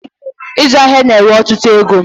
Ịzụ ahịa na ewe ọtụtụ égo